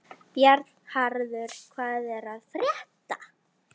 Bjarnharður, hvað er að frétta?